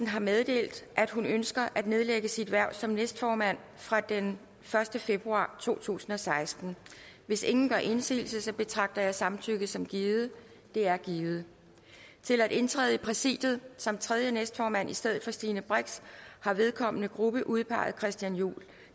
har meddelt at hun ønsker at nedlægge sit hverv som næstformand fra den første februar to tusind og seksten hvis ingen gør indsigelse betragter jeg samtykke som givet det er givet til at indtræde i præsidiet som tredje næstformand i stedet for stine brix har vedkommende gruppe udpeget christian juhl